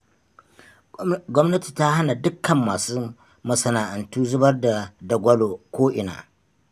Gwamnati ta hana dukkan masu masana'antu zubar da dagwalo ko'ina